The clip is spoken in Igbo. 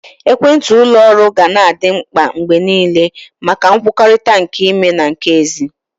Ekwentị ụlọ oru ga na adị mkpa mgbe niile maka nkwukọrịta nke ime na nke ezi.